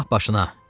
Silah başına!